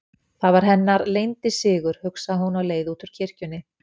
Það var hennar leyndi sigur, hugsaði hún á leið út úr kirkjunni.